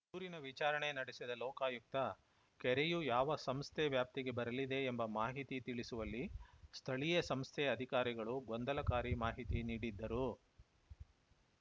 ದೂರಿನ ವಿಚಾರಣೆ ನಡೆಸಿದ ಲೋಕಾಯುಕ್ತ ಕೆರೆಯು ಯಾವ ಸಂಸ್ಥೆ ವ್ಯಾಪ್ತಿಗೆ ಬರಲಿದೆ ಎಂಬ ಮಾಹಿತಿ ತಿಳಿಸುವಲ್ಲಿ ಸ್ಥಳೀಯ ಸಂಸ್ಥೆ ಅಧಿಕಾರಿಗಳು ಗೊಂದಲಕಾರಿ ಮಾಹಿತಿ ನೀಡಿದ್ದರು